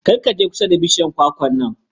Kar ka je kusa da bishiyar kwakwar nan.